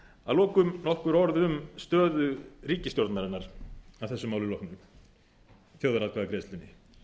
að lokum nokkur orð um stöðu ríkisstjórnarinnar að þessu máli loknu þjóðaratkvæðagreiðslunni